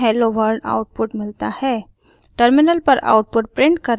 हमें hello world output मिलता है